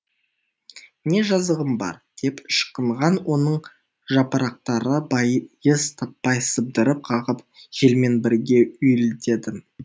не жазығым бар деп ышқынған оның жапырақтары байыз таппай сыбдыр қағып желмен бірге уілдеді